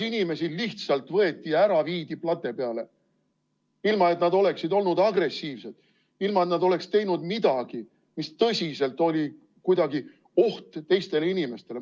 Inimesi lihtsalt võeti ära, viidi plate peale, ilma et nad oleksid olnud agressiivsed, ilma et nad oleksid teinud midagi, mis tõsiselt oli kuidagi oht teistele inimestele.